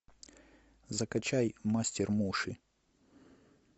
закачай мастер муши